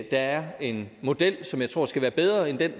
er en model som jeg tror skal være bedre end den